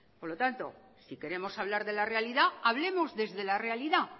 por lo tanto si queremos hablar de la realidad hablemos desde la realidad